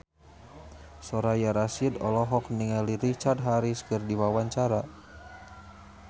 Soraya Rasyid olohok ningali Richard Harris keur diwawancara